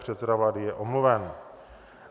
Předseda vlády je omluven.